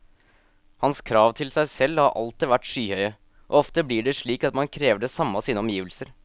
Hans krav til seg selv har alltid vært skyhøye, og ofte blir det slik at man krever det samme av sine omgivelser.